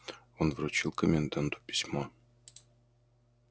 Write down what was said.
он вручил коменданту письмо